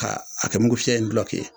Ka a kɛ mugufiyɛ in dulɔki ye